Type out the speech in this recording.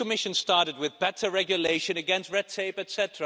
This Commission started, with better regulation against red tape, etc.,